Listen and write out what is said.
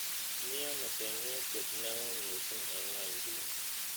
Miano seng'wetiet neo miising' eng' ny'wonyduni